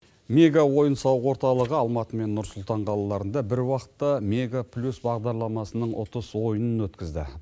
мега ойын сауық орталығы алматы мен нұр сұлтан қалаларында бір уақытта мега плюс бағдарламасының ұтыс ойынын өткізді